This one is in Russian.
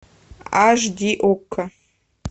аш ди окко